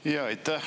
Aitäh!